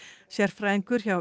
sérfræðingur hjá